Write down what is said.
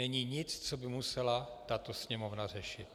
Není nic, co by musela tato Sněmovna řešit.